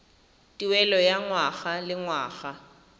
tuelo ya ngwaga le ngwaga